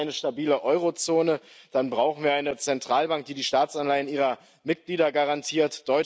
Wollen wir eine stabile Eurozone, dann brauchen wir eine Zentralbank, die die Staatsanleihen ihrer Mitglieder garantiert.